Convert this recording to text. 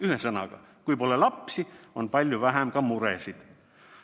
Ühesõnaga, kui pole lapsi, on palju vähem ka muresid.